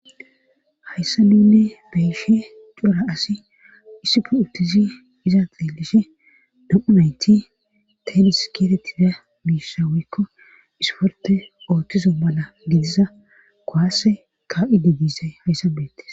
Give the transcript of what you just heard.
hayssa nuunne beyshe cora asi issufu uttizi iza xeelishe do7unayti tenis keetetida miisha wuykko isforte ooththiso mala gidiza kowase ka7idi diisay hayssabeettis